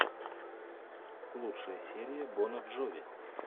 лучшая серия бона джови